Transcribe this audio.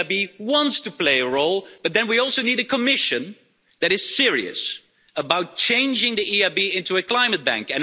The EIB wants to play a role, but then we also need a Commission that is serious about changing the EIB into a climate bank.